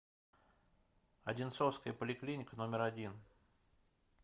одинцовская поликлиника номер один